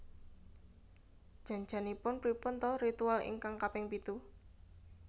Jan janipun pripun ta ritual ingkang kaping pitu